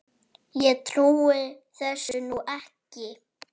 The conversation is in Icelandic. Ég trúi þessu nú ekki!